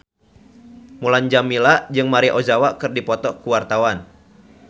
Mulan Jameela jeung Maria Ozawa keur dipoto ku wartawan